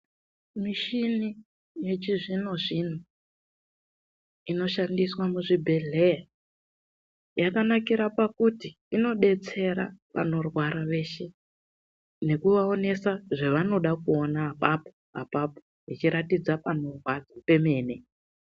Michini yechizvinozvino inoshandiswa muzvibhedhlera yakanakira pakuti inodetsera vanorwara veshe, nekuvaonesa zvevanoda kuona apapo-apapo yechiratidza panorwadza pemene.